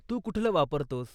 तू कुठलं वापरतोस?